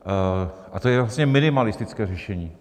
A to je vlastně minimalistické řešení.